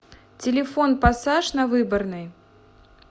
телефон пассаж на выборной